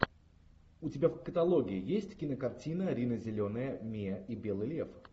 у тебя в каталоге есть кинокартина рина зеленая миа и белый лев